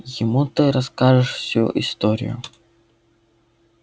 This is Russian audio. ему ты расскажешь всю историю